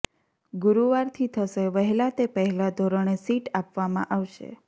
ગુરુવારથી થશે વહેલા તે પહેલા ધોરણે સીટ આપવામાં આવશે